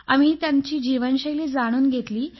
आम्ही त्यांच्या जीवनशैली विषयी जाणून घेतले